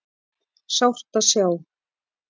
Sárt að sjá